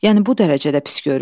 Yəni bu dərəcədə pis görür?